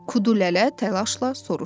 Kudu lələ təlaşla soruşdu.